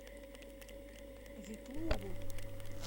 ветлугу